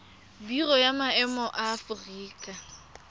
biro ya maemo ya aforika